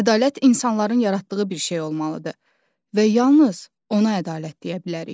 Ədalət insanların yaratdığı bir şey olmalıdır və yalnız ona ədalət deyə bilərik.